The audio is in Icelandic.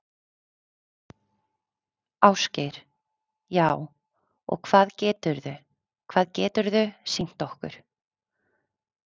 Ásgeir: Já, og hvað geturðu, hvað geturðu sýnt okkur?